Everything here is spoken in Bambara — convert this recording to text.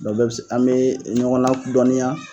o bɛɛ bɛ se, an me ɲɔgɔn ladɔniya